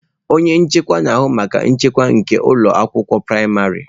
Onye nchekwa na-ahụ maka nchekwa nke ụlọ akwụkwọ praịmarị.